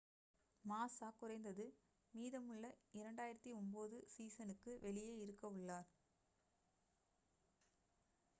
மாஸா குறைந்தது மீதமுள்ள 2009 சீசனுக்கு வெளியே இருக்கவுள்ளார்